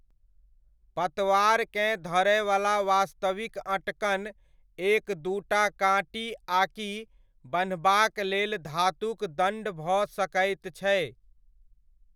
पतवारकेँ धरयवला वास्तविक अँटकन एक दूटा काँटी आकि बन्हबाक लेल धातुक दण्ड भऽ सकैत छै।